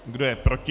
Kdo je proti?